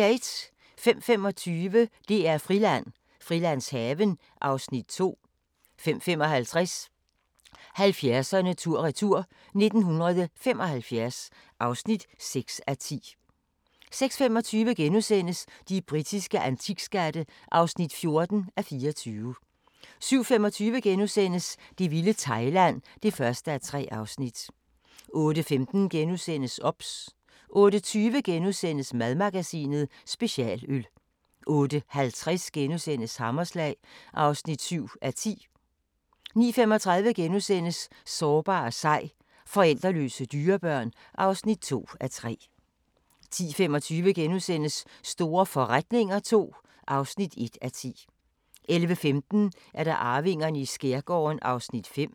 05:25: DR-Friland: Frilandshaven (Afs. 2) 05:55: 70'erne tur-retur: 1975 (6:10) 06:25: De britiske antikskatte (14:24)* 07:25: Det vilde Thailand (1:3)* 08:15: OBS * 08:20: Madmagasinet: Specialøl * 08:50: Hammerslag (7:10)* 09:35: Sårbar og sej – forældreløse dyrebørn (2:3)* 10:25: Store forretninger II (1:10)* 11:15: Arvingerne i skærgården (5:10)